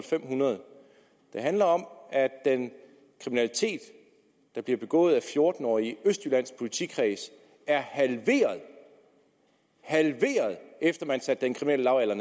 fem hundrede det handler om at den kriminalitet der bliver begået af fjorten årige i østjyllands politikreds er halveret halveret efter at man satte den kriminelle lavalder